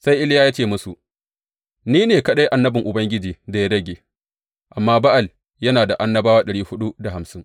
Sai Iliya ya ce musu, Ni ne kaɗai annabin Ubangiji da ya rage, amma Ba’al yana da annabawa ɗari huɗu da hamsin.